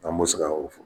An bɛ se ka o fɔ